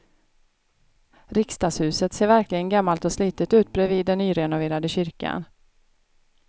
Riksdagshuset ser verkligen gammalt och slitet ut bredvid den nyrenoverade kyrkan.